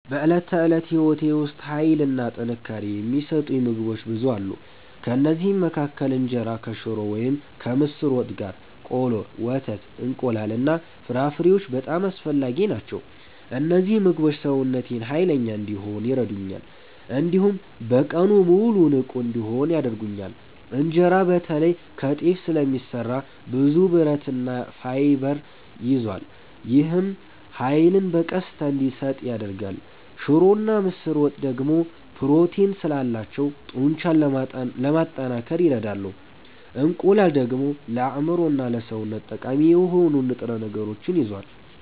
በዕለት ተዕለት ሕይወቴ ውስጥ ኃይልና ጥንካሬ የሚሰጡኝ ምግቦች ብዙ አሉ። ከእነዚህ መካከል እንጀራ ከሽሮ ወይም ከምስር ወጥ ጋር፣ ቆሎ፣ ወተት፣ እንቁላል እና ፍራፍሬዎች በጣም አስፈላጊ ናቸው። እነዚህ ምግቦች ሰውነቴን ኃይለኛ እንዲሆን ይረዱኛል፣ እንዲሁም በቀኑ ሙሉ ንቁ እንድሆን ያደርጉኛል። እንጀራ በተለይ ከጤፍ ስለሚሰራ ብዙ ብረትና ፋይበር ይዟል። ይህም ኃይልን በቀስታ እንዲሰጥ ያደርጋል። ሽሮና ምስር ወጥ ደግሞ ፕሮቲን ስላላቸው ጡንቻን ለማጠናከር ይረዳሉ። እንቁላል ደግሞ ለአእምሮና ለሰውነት ጠቃሚ የሆኑ ንጥረ ነገሮችን ይዟል።